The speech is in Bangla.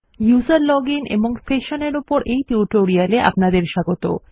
উসের লজিন এবং session এর ওপর এই টিউটোরিয়াল এ আপনাদের স্বাগত